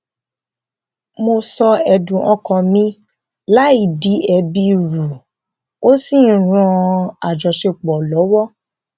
mo sọ ẹdùn ọkàn mi láì di ẹbi rù ú ó sì ń ran àjọṣepọ lọwọ